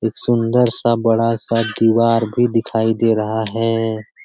एक सुन्दर सा बड़ा-सा दिवार भी दिखाई दे रहा है।